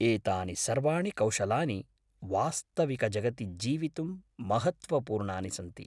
एतानि सर्वाणि कौशलानि वास्तविकजगति जीवितुं महत्त्वपूर्णानि सन्ति।